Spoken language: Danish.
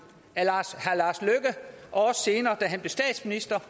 og senere da han blev statsminister